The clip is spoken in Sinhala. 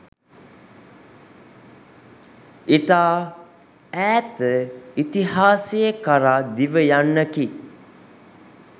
ඉතා ඈත ඉතිහාසය කරා දිව යන්නකි.